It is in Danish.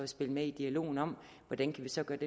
spil med i dialogen om hvordan vi så kan